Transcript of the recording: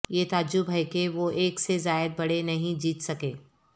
یہ تعجب ہے کہ وہ ایک سے زائد بڑے نہیں جیت سکے